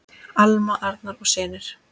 Alma, Arnar og synir.